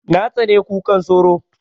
Na tsani kukan sauro